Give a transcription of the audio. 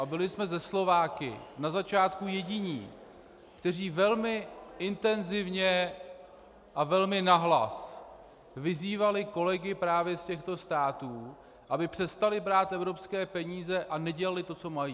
A byli jsme se Slováky na začátku jediní, kteří velmi intenzivně a velmi nahlas vyzývali kolegy právě z těchto států, aby přestali brát evropské peníze a dělali to, co mají.